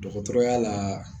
Dɔgɔtɔrɔya la